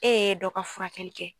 E ye dɔ ka furakɛli kɛ.